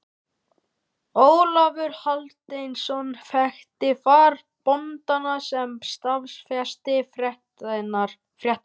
Ólafur Hjaltason þekkti þar bóndann sem staðfesti fréttirnar.